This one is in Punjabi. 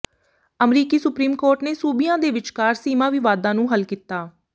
ਅਮਰੀਕੀ ਸੁਪਰੀਮ ਕੋਰਟ ਨੇ ਸੂਬਿਆਂ ਦੇ ਵਿਚਕਾਰ ਸੀਮਾ ਵਿਵਾਦਾਂ ਨੂੰ ਹੱਲ ਕੀਤਾ